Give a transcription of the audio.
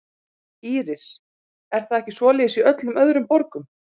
Íris: Er það ekki svoleiðis í öllum öðrum borgum?